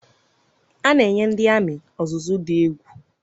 A na-enye ndị amị ọzụzụ dị egwu